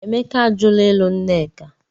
Emeka ajụla ịlụ Nneka.